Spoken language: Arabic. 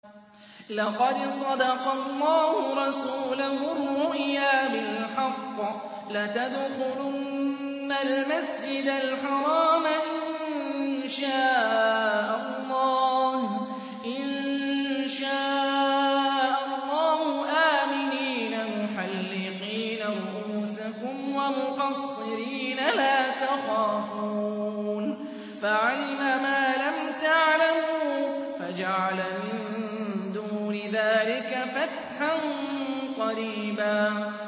لَّقَدْ صَدَقَ اللَّهُ رَسُولَهُ الرُّؤْيَا بِالْحَقِّ ۖ لَتَدْخُلُنَّ الْمَسْجِدَ الْحَرَامَ إِن شَاءَ اللَّهُ آمِنِينَ مُحَلِّقِينَ رُءُوسَكُمْ وَمُقَصِّرِينَ لَا تَخَافُونَ ۖ فَعَلِمَ مَا لَمْ تَعْلَمُوا فَجَعَلَ مِن دُونِ ذَٰلِكَ فَتْحًا قَرِيبًا